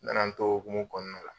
N nana n to o hokumu kɔnɔna la